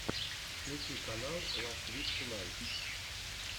включи канал ласт вик тунайт